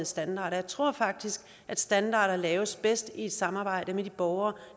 standarder jeg tror faktisk at standarder laves bedst i samarbejde med de borgere